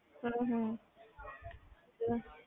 ਹਮ ਹਮ